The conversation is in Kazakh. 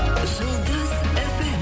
жұлдыз фм